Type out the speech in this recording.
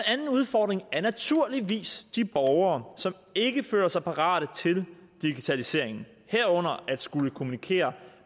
anden udfordring er naturligvis de borgere som ikke føler sig parate til digitaliseringen herunder at skulle kommunikere